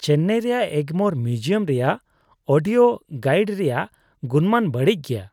ᱪᱮᱱᱱᱟᱭ ᱨᱮᱭᱟᱜ ᱮᱜᱢᱳᱨ ᱢᱤᱭᱩᱡᱤᱭᱟᱢ ᱨᱮᱭᱟᱜ audio guide ᱨᱮᱭᱟᱜ ᱜᱩᱱᱢᱟᱱ ᱵᱟᱹᱲᱤᱡ ᱜᱮᱭᱟ ᱾